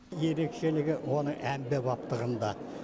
ерекшелігі оның әмбебаптығында